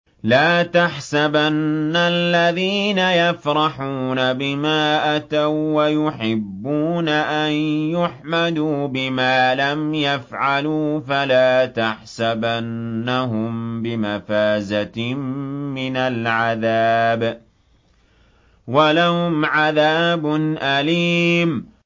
لَا تَحْسَبَنَّ الَّذِينَ يَفْرَحُونَ بِمَا أَتَوا وَّيُحِبُّونَ أَن يُحْمَدُوا بِمَا لَمْ يَفْعَلُوا فَلَا تَحْسَبَنَّهُم بِمَفَازَةٍ مِّنَ الْعَذَابِ ۖ وَلَهُمْ عَذَابٌ أَلِيمٌ